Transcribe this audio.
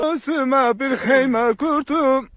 Özümə bir xeymə qurdum.